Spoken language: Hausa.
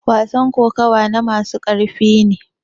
wasan kokawa na masu ƙarfi ne